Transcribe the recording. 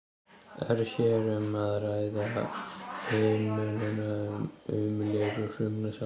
er hér um að ræða himnuna sem umlykur frumuna sjálfa